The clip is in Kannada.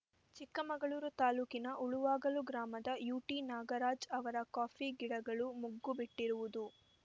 ಚಿಕ್ಕಮಗಳೂರು ತಾಲೂಕಿನ ಉಳುವಾಗಲು ಗ್ರಾಮದ ಯುಟಿ ನಾಗರಾಜ್‌ ಅವರ ಕಾಫಿ ಗಿಡಗಳು ಮುಗ್ಗು ಬಿಟ್ಟಿರುವುದು